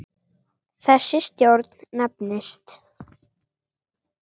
Þessi stjórn nefnist